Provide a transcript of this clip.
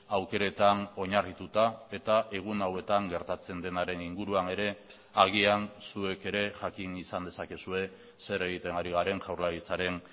aukeretan oinarrituta eta egun hauetan gertatzen denaren inguruan ere agian zuek ere jakin izan dezakezue zer egiten ari garen jaurlaritzaren